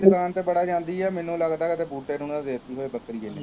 ਦੀ ਦੁਕਾਨ ਤੇ ਬੜਾ ਜਾਂਦੀ ਹੈ, ਮੈਨੂੰ ਲੱਗਦਾ ਕਿਤੇ ਬੂਟੇ ਨੂੰ ਨਾ ਦੇ ਦਿੱਤੀ ਹੋੇਵੇ ਬੱਕਰੀ